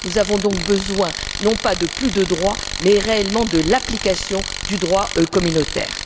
Nous avons donc besoin non pas de plus de droits, mais réellement de l'application du droit communautaire.